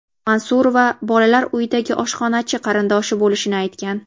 Mansurova Bolalar uyidagi oshxonachi qarindoshi bo‘lishini aytgan.